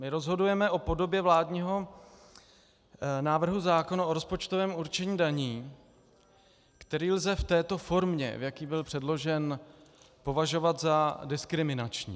My rozhodujeme o podobě vládního návrhu zákona o rozpočtovém určení daní, který lze v této formě, v jaké byl předložen, považovat za diskriminační.